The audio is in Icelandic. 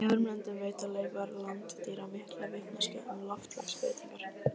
Í öðrum löndum veita leifar landdýra mikla vitneskju um loftslagsbreytingar.